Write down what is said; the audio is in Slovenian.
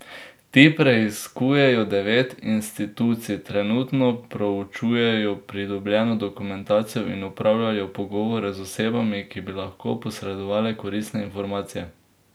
Ti preiskujejo devet institucij, trenutno proučujejo pridobljeno dokumentacijo in opravljajo pogovore z osebami, ki bi lahko posredovale koristne informacije.